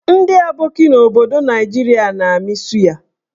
Ndị aboki n'obodo Naijiria na-amị suya.